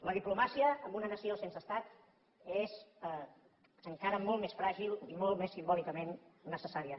la diplomàcia en una nació sense estat és encara molt més fràgil i molt més simbòlicament necessària